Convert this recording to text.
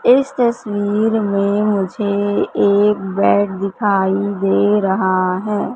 इस तस्वीर मे मुझे एक बेड दिखाई दे रहा है।